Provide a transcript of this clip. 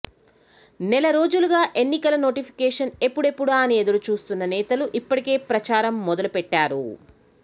నెల రోజులుగా ఎన్నికల నోటిఫికేషన్ ఎప్పుడెప్పుడా అని ఎదురుచూస్తున్న నేతలు ఇప్పటికే ప్రచారం మొదలుపెట్టారు